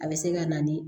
A bɛ se ka na ni